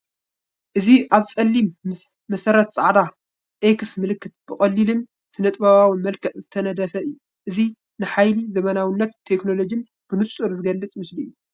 እዚ ኣብ ጸሊም መሰረት ጻዕዳ ‘X’ ምልክት፡ ብቐሊልን ስነጥበባውን መልክዕ ዝተነድፈ እዩ። እዚ ንሓይሊ ዘመናዊነትን ቴክኖሎጅን ብንጹር ዝገልፅ ምስሊ እዩ።